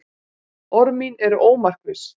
Orð mín eru ómarkviss.